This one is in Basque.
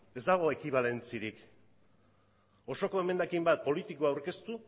ez dago ekibalentziarik osoko emendakin bat politiko aurkeztu